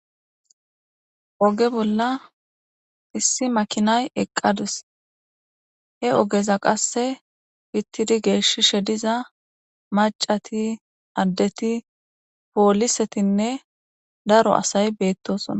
Oge bolla issi makinay eqqadus. He ogeza qasse pittidi geeshishe diza macati addeti poolisetinne daro asay beettosona.